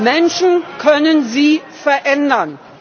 Menschen können sie verändern.